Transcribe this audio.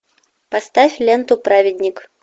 поставь ленту праведник